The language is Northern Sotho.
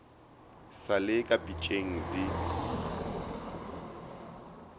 sa le ka pitšeng di